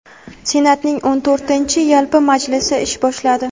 Senatning o‘n to‘rtinchi yalpi majlisi ish boshladi.